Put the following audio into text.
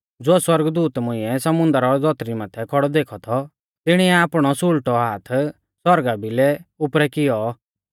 ज़ो सौरगदूत मुंइऐ समुन्दर और धौतरी माथै खौड़ौ देखौ थौ तिणिऐ आपणौ सुल़टौ हाथ आसमाना भिलै उपरै कियौ